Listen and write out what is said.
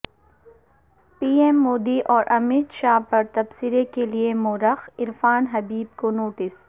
پی ایم مودی اور امت شاہ پر تبصرے کے لیے مورخ عرفان حبیب کو نوٹس